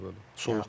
Bəli, bəli.